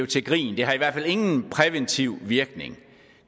til grin det har i hvert fald ingen præventiv virkning